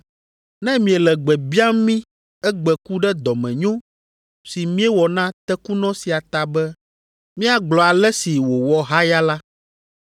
Ne miele gbe biam mí egbe ku ɖe dɔmenyo si míewɔ na tekunɔ sia ta be míagblɔ ale si wòwɔ haya la,